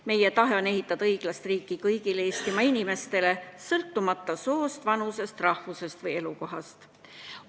Meie tahe on ehitada õiglast riiki kõigile Eestimaa inimestele, sõltumata soost, vanusest, rahvusest või elukohast.